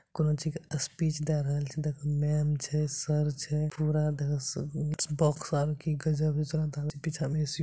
कोनो चीज के स्पीच दे रहल छै देखा मेम छै सर छै पूरा देखा--